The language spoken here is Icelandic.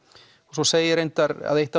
svo segir reyndar að eitt